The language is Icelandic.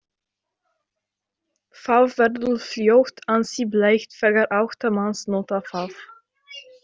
Það verður fljótt ansi blautt þegar átta manns nota það.